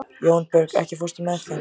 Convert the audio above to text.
Jónbjörg, ekki fórstu með þeim?